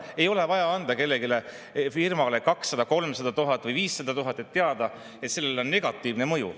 Ei ole vaja anda kellegi firmale 200 000, 300 000 või 500 000 eurot, et teada, et sellel on negatiivne mõju.